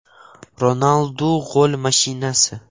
Ronaldu gol mashinasi.